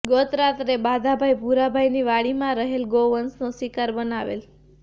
ગત રાત્રે બાધાભાઈ ભૂરાભાઈ ની વાડીમાં રહેલ ગૌ વંશને શિકાર બનાવેલ